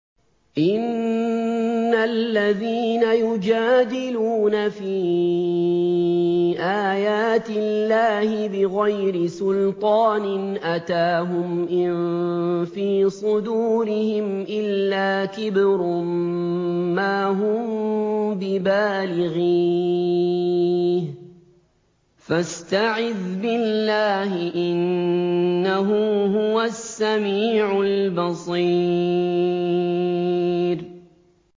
إِنَّ الَّذِينَ يُجَادِلُونَ فِي آيَاتِ اللَّهِ بِغَيْرِ سُلْطَانٍ أَتَاهُمْ ۙ إِن فِي صُدُورِهِمْ إِلَّا كِبْرٌ مَّا هُم بِبَالِغِيهِ ۚ فَاسْتَعِذْ بِاللَّهِ ۖ إِنَّهُ هُوَ السَّمِيعُ الْبَصِيرُ